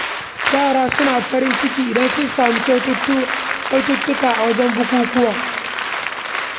Yara suna farin ciki idan sun samu kyaututtuka a wurin bukukuwa.